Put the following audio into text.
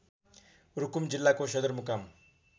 रुकुम जिल्लाको सदरमुकाम